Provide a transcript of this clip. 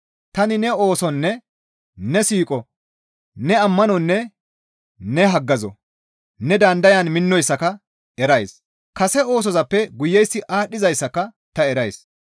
Tani ne oosonne ne siiqo, ne ammanonne ne haggazo, ne dandayan minnoyssaka erays; kase oosozappe guyeyssi aadhdhizayssaka ta erays.